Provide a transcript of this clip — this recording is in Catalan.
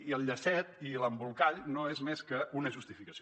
i el llacet i l’embolcall no són més que una justificació